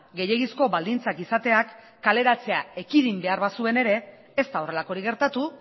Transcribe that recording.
gehiegizko baldintzak izateak kaleratzea ekidin behar bazuen ere ez da horrelakorik gertatu